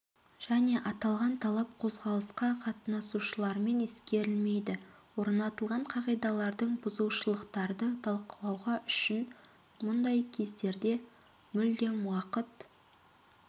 және аталған талап қозғалысқа қатынасушылармен ескерілмейді орнатылған қағидалардың бұзушылықтарды талқылауға үшін мұндай кездерде мүлдем уақыт